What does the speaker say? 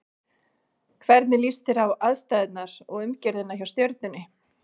Hvernig líst þér á aðstæður og umgjörðina hjá Stjörnunni?